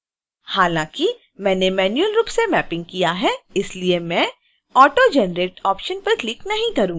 हालांकि मैंने मैन्युअल रूप से मैपिंग किया है इसलिए मैं auto generate ऑप्शन पर क्लिक नहीं करूंगी